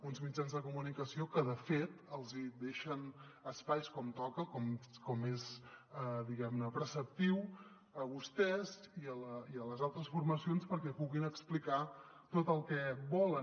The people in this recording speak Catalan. uns mitjans de comunicació que de fet els hi deixen espais com toca com és preceptiu a vostès i a les altres formacions perquè puguin explicar tot el que volen